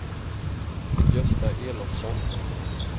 Gösta Elofsson